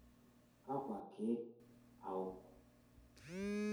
Kakua keek awok?